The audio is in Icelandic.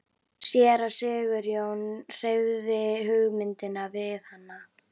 Séra Sigurjón hreyfði hugmyndinni við hana.